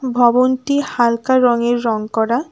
ভবনটি হালকা রঙে রঙ করা।